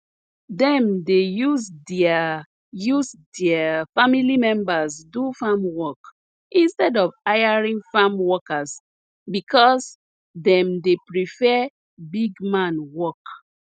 dem dey use deir use deir family members do farm work instead of hiring farm workers because dem dey prefer big man work